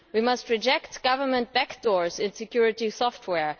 We must reject government backdoors in security software.